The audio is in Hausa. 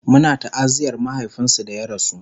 Muna ta'aziyar mahaifinsu da ya rasu